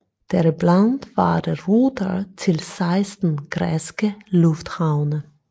Deriblandt var der ruter til 16 græske lufthavne